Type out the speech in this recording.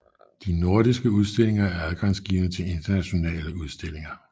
De nordiske udstillinger er adgangsgivende til internationale udstillinger